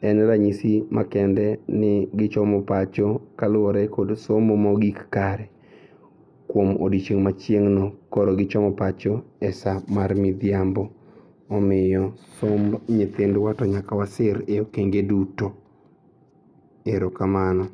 en ranyisi ma kende ni gichomo pacho kaluore kod somo mogik kare kuom odiochieng' machieng'no koro gichomo pacho e saa mar midhiambo omiyo somb nyithindwa to nyaka wasir e okenge duto. Erokamano.